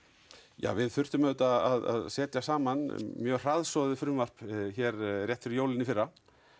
já við þurftum auðvitað að setja saman mjög hraðsoðið frumvarp hér rétt fyrir jólin í fyrra